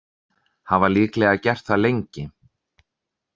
Hafa líklega gert það lengi.